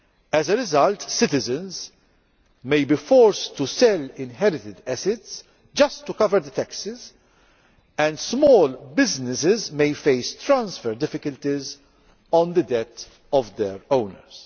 As a result, citizens may be forced to sell inherited assets just to cover the taxes, and small businesses may face transfer difficulties on the death of their owners.